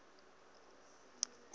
o se wa ba wa